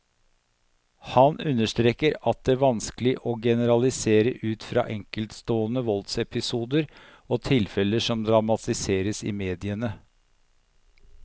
Han understreker at det vanskelig å generalisere ut fra enkeltstående voldsepisoder og tilfeller som dramatiseres i mediene.